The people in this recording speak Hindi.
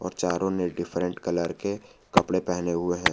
और चारों ने डिफरेंट कलर के कपड़े पहने हुए है।